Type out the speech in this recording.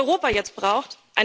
Was Europa jetzt braucht?